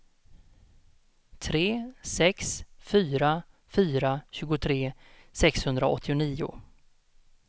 tre sex fyra fyra tjugotre sexhundraåttionio